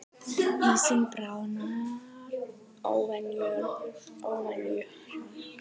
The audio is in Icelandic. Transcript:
Ísinn bráðnar óvenju hratt